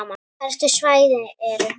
Helstu svæði eru